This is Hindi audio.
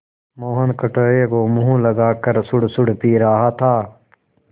मोहन कटोरे को मुँह लगाकर सुड़सुड़ पी रहा था